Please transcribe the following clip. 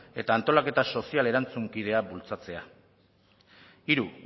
eta antolaketa sozial erantzunkidea bultzatzea hiru